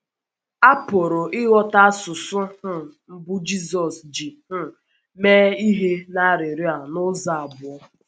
A pụrụ ịghọta asụsụ um mbụ Jizọs ji um mee ihe n’arịrịọ a n’ụzọ abụọ.